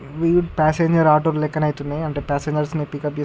Passenger auto లు లెక్కన ఐతున్నాయి. అంటే పాసింజర్స్ ని పిక్అప్ చేసు--